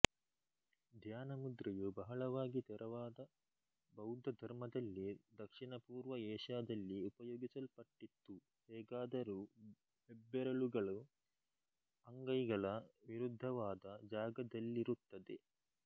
ಧ್ಯಾನ ಮುದ್ರೆಯು ಬಹಳವಾಗಿ ತೆರವಾದ ಬೌದ್ಧ ಧರ್ಮದಲ್ಲಿ ದಕ್ಷಿಣಪೂರ್ವ ಏಷ್ಯಾದಲ್ಲಿ ಉಪಯೋಗಿಸಲ್ಪಟ್ಟಿತ್ತು ಹೇಗಾದರೂ ಹೆಬ್ಬೆರಳುಗಳು ಅಂಗೈಗಳ ವಿರುದ್ಧವಾದ ಜಾಗದಲ್ಲಿರುತ್ತದೆ